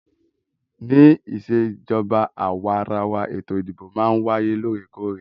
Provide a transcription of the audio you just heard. Ní ìṣèjọba àwàrawa, ètò ìdìbò máà ń wáyé lóòrèkóòrè.